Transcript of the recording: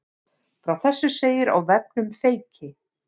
Frá þessu segir á vefnum Feyki